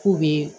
K'u bɛ